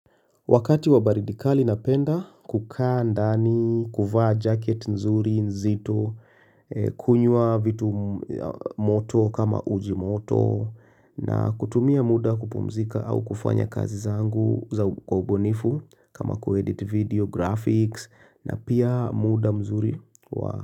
Wakati wa baridi kali napenda, kukaa ndani, kufaa jacket nzuri, nzito, kunywa vitu moto kama uji moto na kutumia muda kupumzika au kufanya kazi zangu kwa ubunifu kama kuedit video, graphics na pia muda mzuri.